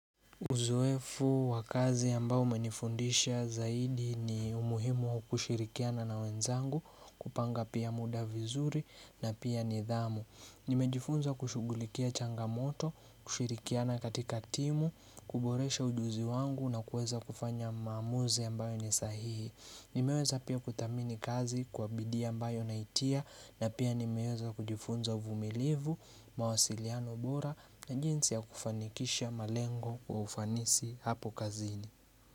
Uzoefu wa kazi ambao umenifundisha zaidi ni umuhimu wa kushirikiana na wenzangu kupanga pia muda vizuri na pia nidhamu Nimejifunza kushugulikia changamoto, kushirikiana katika timu, kuboresha ujuzi wangu na kueza kufanya maamuzi ambayo ni sahihi. Nimeweza pia kudhamini kazi kwa bidii ambayo naitia na pia nimeweza kujifunza uvumilivu mawasiliano bora na jinsi ya kufanikisha malengo kwa ufanisi hapo kazini.